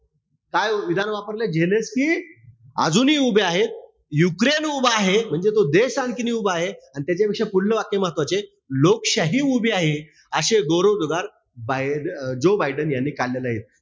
काय विधान वापरलय? झेलेन्स्की अजूनही उभे आहेत. युक्रेन उभा आहे. म्हणजे तो देश आणखीनही उभा आहे. अन त्याच्यापेक्षा पुढलं वाक्य महत्वाचेय. लोकशाही उभी आहे. असे गौरव उद्गार बाय अं जो बायडेन यांनी काढलेले आहेत.